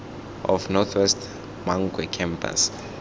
of north west mankwe campus